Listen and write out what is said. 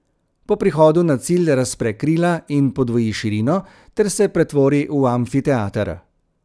Po prihodu na cilj razpre krila in podvoji širino ter se pretvori v amfiteater.